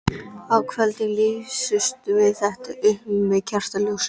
Á kvöldin lýstum við þetta upp með kertaljósum.